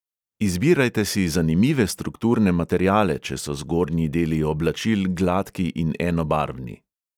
Izbirajte si zanimive strukturne materiale, če so zgornji deli oblačil gladki in enobarvni.